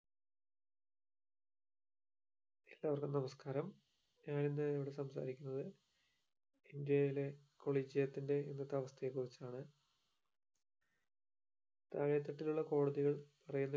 എല്ലാവർക്കും നമസ്ക്കാരം ഞാൻ ഇന്ന് ഇവിടെ സംസാരിക്കുന്നത് ഇന്ത്യയിലെ collegium ത്തിന്റെ ഇന്നത്തെ അവസ്ഥയെ കുറിച്ചാണ് താഴെ തട്ടിലുള്ള കോടതികൾ പറയുന്ന